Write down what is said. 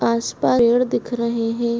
आसपास पेड़ दिख रहे है।